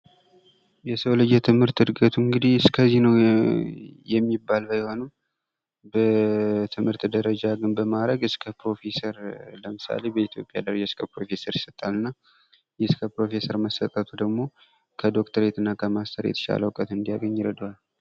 የሰው ልጅ የትምህርት ዕድገቱ እንግዲህ እስከዚህ ነው የሚባል ባይሆንም በትምህርት ደረጃ ግን በማዕረግ እስከ ፕሮፌሰር ለምሳሌ በኢትዮጵያ ደረጃ እስከ ፕሮፌሰር ይሰጣልና እስከ ፕሮፌሰር መሰጠቱ ደግሞ ከ ዶክትሬትና ከማስተር የተሻለ እውቀት እንዲያገኝ ይረዳዋል ።